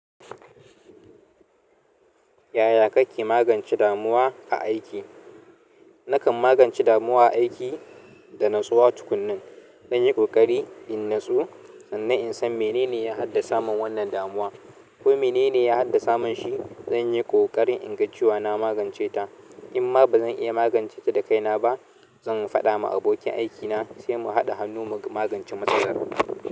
Yaya kake magance damuwa a aiki? Nakan magance damuwa a aiki da natsuwa tukunnin. Dan yi ƙoƙari in natsu sannan in san mene ne ya haddasa mun wannan damuwa ko mene ne ya haddasa mun shi. Zan yi ƙoƙarin inga ciwa na magance ta. Inma ba zan iya magance ta da kaina ba, zan faɗa ma abokin aikina sai mu haɗa hannu mu magance matsalar.